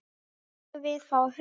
Megum við fá hund?